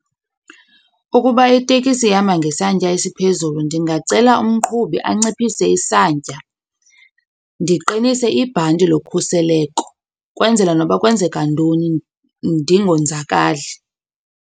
Ukuba itekisi ihamba ngesantya esiphezulu ndingacela umqhubi anciphise isantya, ndiqinise ibhanti lokhuseleko kwenzela noba kwenzeka ntoni ndingonzakali.